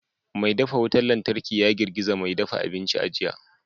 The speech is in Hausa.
Mai dafa wutar lantarki ya girgiza mai dafa abinci a jiya